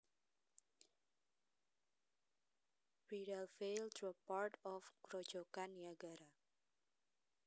Bridal Veil drop part of Grojogan Niagara